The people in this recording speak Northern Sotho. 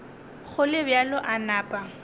go le bjalo a napa